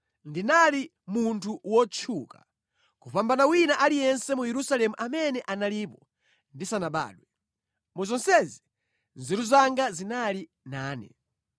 Ndinali munthu wotchuka kupambana wina aliyense mu Yerusalemu amene analipo ndisanabadwe. Mu zonsezi nzeru zanga zinali nane.